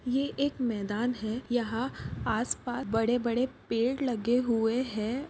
ये एक मैदान है यहा आस पास बड़े-बड़े पेड़ लगे हुए है।